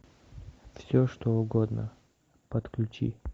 все что угодно подключи